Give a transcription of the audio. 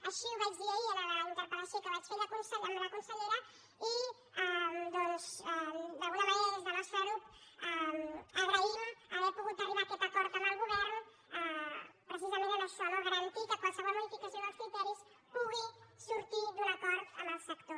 així ho vaig dir ahir en la interpeli doncs d’alguna manera des del nostre grup agraïm haver pogut arribar a aquest acord amb el govern precisament en això no garantir que qualsevol modificació dels criteris pugui sortir d’un acord amb el sector